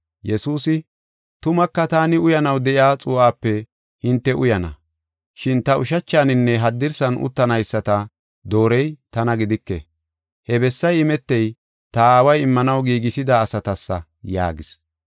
Yesuusi, “Tumaka taani uyanaw de7iya xuu7ape hinte uyana. Shin ta ushachaninne haddirsan uttanayisata doorey tana gidike. He bessay imetey, ta aaway immanaw giigisida asatasa” yaagis.